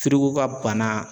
ka bana